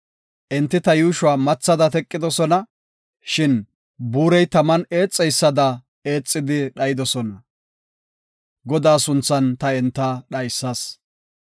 Enti ta yuushuwa mathada teqidosona; Shin buurey taman eexeysada eexidi dhayidosona; Godaa sunthan ta enta dhaysas.